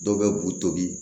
Dɔw bɛ b'u tobi